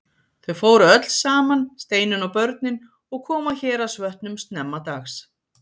Þau fóru öll saman, Steinunn og börnin, og komu að Héraðsvötnum snemma dags.